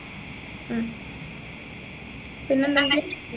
ഉം പിന്നെന്തെങ്കിലും